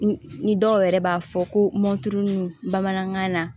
Ni dɔw yɛrɛ b'a fɔ ko mɔnti bamanankan na